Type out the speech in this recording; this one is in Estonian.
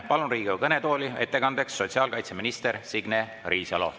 Palun Riigikogu kõnetooli ettekandeks sotsiaalkaitseminister Signe Riisalo.